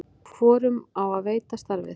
hvorum á að veita starfið